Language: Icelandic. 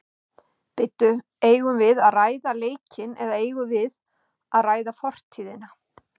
Bíddu eigum við að ræða leikinn eða eigum við að ræða fortíðina?